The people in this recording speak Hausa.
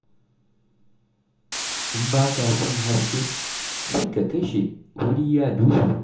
In ba ka son haske, sai ka kashe, wuri ya duhu.